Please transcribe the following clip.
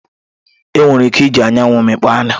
Enwere ike iji anyanwu mmikpo anu.